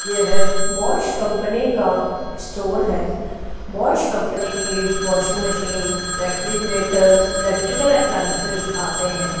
ये है Bosch company का स्टोर है बॉश कंपनी की washing machines refrigerator electrical appliances आते हैं।